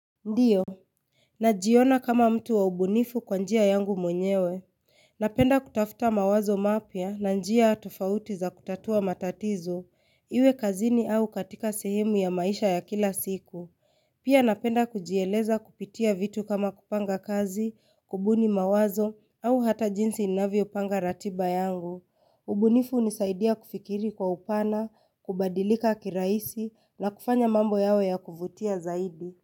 Ndio. Najiona kama mtu wa ubunifu kwa njia yangu mwenyewe. Napenda kutafuta mawazo mapya na njia tofauti za kutatua matatizo. Iwe kazini au katika sehemu ya maisha ya kila siku. Pia napenda kujieleza kupitia vitu kama kupanga kazi, kubuni mawazo au hata jinsi inavyo panga ratiba yangu. Ubunifu nisaidia kufikiri kwa upana, kubadilika kiraisi na kufanya mambo yawe ya kuvutia zaidi.